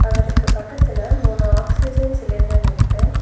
அவருக்கு பக்கத்துல மூணு ஆக்சிஜன் சிலிண்டர் இருக்கு.